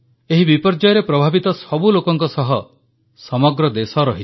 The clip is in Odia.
ଏହି ବିପର୍ଯ୍ୟୟରେ ପ୍ରଭାବିତ ସବୁ ଲୋକଙ୍କ ସହ ସମଗ୍ର ଦେଶ ରହିଛି